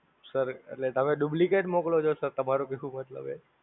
Sir, એટલે તમે Duplicate મોકલો છો Sir તમારું કેવું મતલબ એ?